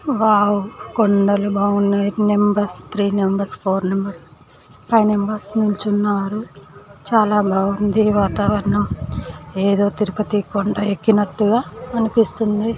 Wow కొండలు బాగున్నాయి. Numbers three numbers four numbers five members నిల్చున్నారు. చాలా బాగుంది వాతావరణం. ఏదో తిరుపతి కొండ ఎక్కినట్టుగా అనిపిస్తుంది.